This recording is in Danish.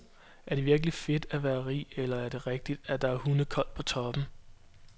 Er det virkelig fedt at være rig, eller er det rigtigt, at der er hundekoldt på toppen.